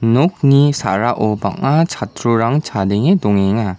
nokni sa·rao bang·a chatrirang chadenge dongenga.